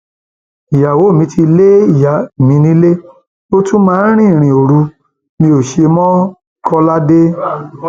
ìyàwó mi ti lé ìyá mi nílé ó tún máa ń rìnrìn òru mi ó ṣe mọkọládé